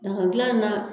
Daga dilan in na